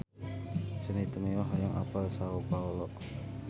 Sandy Tumiwa hoyong apal Sao Paolo